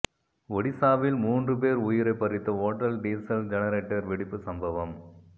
ஒடிசாவில் மூன்று பேர் உயிரை பறித்த ஓட்டல் டீசல் ஜெனரேட்டர் வெடிப்பு சம்பவம்